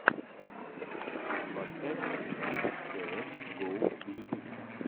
поставь прилив цеэс го в ютубе